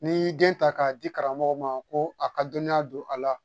N'i y'i den ta k'a di karamɔgɔ ma ko a ka dɔnniya don a la